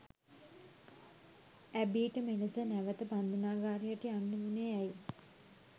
ඇබීට මෙලෙස නැවත බන්ධනාගාරයට යන්න වුණේ ඇයි?